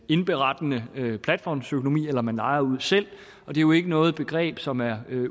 indberettende platformsøkonomi eller om man lejer ud selv og det er jo ikke noget begreb som er